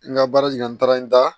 N ka baara jigin na n taara n da